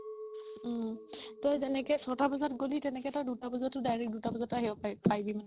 উম তই যেনেকে চ'তা বাজাত গ'লি তেনেকে তই দুটা বজাত তেনেকে তই direct দুটা বজাতও আহিব পাৰিবি মানে